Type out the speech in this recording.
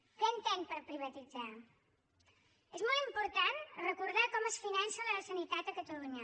què entén per privatitzar és molt important recordar com es finança la sanitat a catalunya